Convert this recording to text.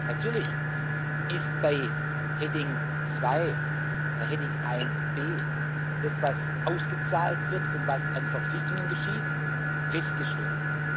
Natürlich ist bei Rubrik 2, bei Rubrik 1b das, was ausgezahlt wird und was an Verpflichtungen geschieht, festgeschrieben.